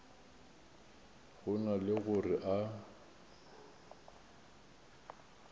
go na le gore a